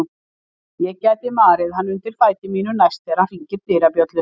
Ég gæti marið hann undir fæti mínum næst þegar hann hringir dyrabjöllu.